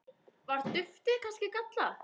Var duftið kannski gallað?